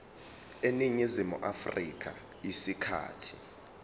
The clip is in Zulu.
eningizimu afrika isikhathi